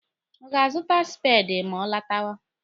Ọ ga-azụta speedi ma ọ lọtawa.